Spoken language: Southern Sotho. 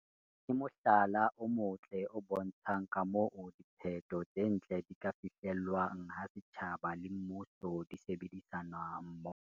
ke mohlala o motle o bontshang ka moo diphetho tse ntle di ka fihlelwang ha setjhaba le mmuso di sebedisana mmoho.